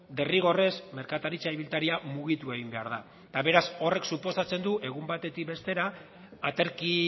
derrigorrez merkataritza ibiltaria mugitu egin behar da eta beraz horrek suposatzen du egun batetik bestera aterki